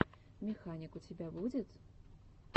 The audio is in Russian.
механик у тебя будет